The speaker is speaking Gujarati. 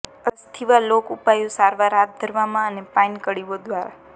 અસ્થિવા લોક ઉપાયો સારવાર હાથ ધરવામાં અને પાઈન કળીઓ દ્વારા